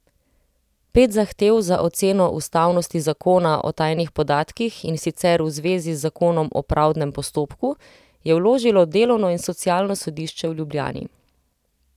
Pet zahtev za oceno ustavnosti zakona o tajnih podatkih, in sicer v zvezi z zakonom o pravdnem postopku, je vložilo Delovno in socialno sodišče v Ljubljani.